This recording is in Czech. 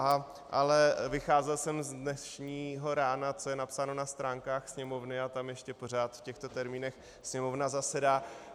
Ale vycházel jsem z dnešního rána, co je napsáno na stránkách Sněmovny, a tam ještě pořád v těchto termínech Sněmovna zasedá.